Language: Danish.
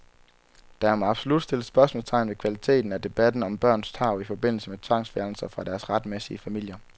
Der må absolut stilles spørgsmålstegn ved kvaliteten af debatten om børns tarv i forbindelse med tvangsfjernelser fra deres retmæssige familier.